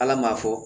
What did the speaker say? Ala m'a fɔ